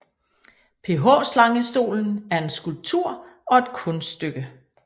PH Slangestolen er en skulptur og et kunststykke